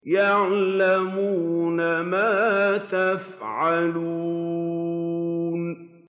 يَعْلَمُونَ مَا تَفْعَلُونَ